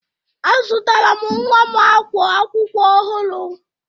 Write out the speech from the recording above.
Azụtara m nwa m ákwá akwụkwọ ọhụrụ.